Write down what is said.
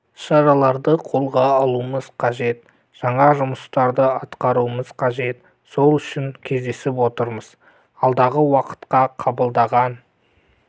шараларды қолға алуымыз қажет жаңа жұмыстар атқаруымыз қажет сол үшін кездесіп отырмыз алдағы уақытқа қабылдаған